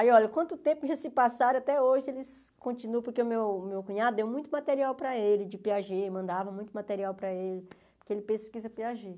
Aí, olha, quanto tempo já se passaram, até hoje eles continuam, porque o meu o meu cunhado deu muito material para ele de Piaget, mandava muito material para ele, porque ele pesquisa Piaget.